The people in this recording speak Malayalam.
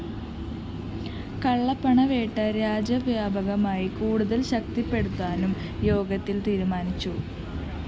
കള്ളപ്പണവേട്ട രാജ്യവ്യാപകമായി കൂടുതല്‍ ശക്തിപ്പെടുത്താനും യോഗത്തില്‍ തീരുമാനിച്ചു